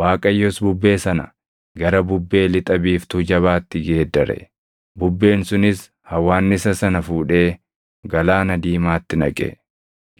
Waaqayyos bubbee sana gara bubbee lixa biiftuu jabaatti geeddare; bubbeen sunis hawwaannisa sana fuudhee Galaana Diimaatti naqe.